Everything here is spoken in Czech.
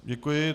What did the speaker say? Děkuji.